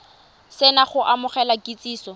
se na go amogela kitsiso